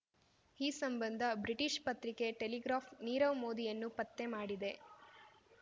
ಈ ಸಂಬಂಧ ಬ್ರಿಟಿಷ್ ಪತ್ರಿಕೆ ಟೆಲಿಗ್ರಾಫ್ ನೀರವ್ ಮೋದಿಯನ್ನು ಪತ್ತೆ ಮಾಡಿದೆ